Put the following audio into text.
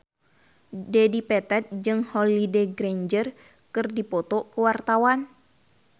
Dedi Petet jeung Holliday Grainger keur dipoto ku wartawan